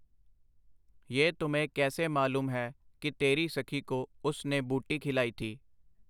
ਯਹ ਤੁਮੇਂ ਕੈਸੇ ਮਾਲੂਮ ਹੈ ਕਿ ਤੇਰੀ ਸਖੀ ਕੋ ਉਸ ਨੇ ਬੂਟੀ ਖਿਲਾਈ ਥੀ ?”.